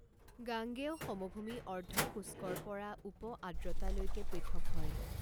গাঙ্গেয় সমভূমি অৰ্ধ শুষ্কৰ পৰা উপ আদ্ৰতা লৈকে পৃথক হয়।